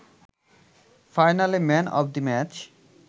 ফাইনালে man of the match